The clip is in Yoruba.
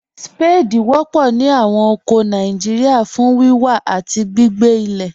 Ṣpáàdí wọ̀pọ̀ ní awọn oko Nàìjíríà fún wíwà àti gbìgbé ilẹ̀.